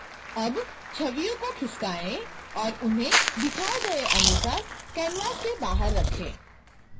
अब छवियों को खिसकाएँ और उन्हें दिखाए गए अनुसार canvas के बाहर रखें